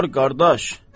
Apar qardaş.